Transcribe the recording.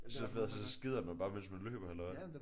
Så fed så skider man bare mens man løber eller hvad?